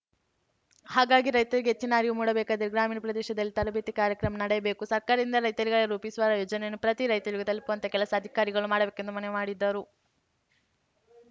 ಹಾಗಾಗಿ ರೈತರಿಗೆ ಹೆಚ್ಚಿನ ಅರಿವು ಮೂಡಬೇಕಾದರೆ ಗ್ರಾಮೀಣ ಪ್ರದೇಶದಲ್ಲಿ ತರಬೇತಿ ಕಾರ್ಯಕ್ರಮ ನಡೆಯಬೇಕು ಸರ್ಕಾರದಿಂದ ರೈತರಿಗಾಗಿ ರೂಪಿಸುವ ಯೋಜನೆಯನ್ನು ಪ್ರತಿ ರೈತರಿಗೂ ತಲುಪುವಂತಹ ಕೆಲಸ ಅಧಿಕಾರಿಗಳು ಮಾಡಬೇಕೆಂದು ಮನವಿ ಮಾಡಿದ್ದರು